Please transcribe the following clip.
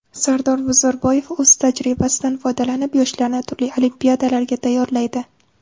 Sardor Bozorboyev o‘z tajribasidan foydalanib, yoshlarni turli olimpiadalarga tayyorlaydi.